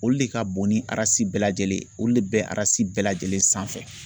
Olu le ka bon ni bɛɛ lajɛlen ye olu le bɛ bɛɛ lajɛlen sanfɛ.